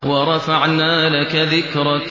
وَرَفَعْنَا لَكَ ذِكْرَكَ